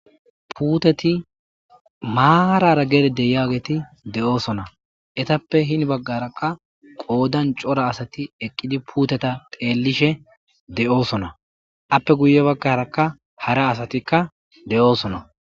Puuteti maarara geride yaageti de'oosona etappe hini baggarakka qoodan cora asati eqqidi puuteta teellishe de'oosona appe guye baggarakka hara asatikka de'oosona